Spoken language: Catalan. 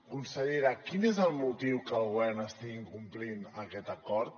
consellera quin és el motiu que el govern estigui incomplint aquest acord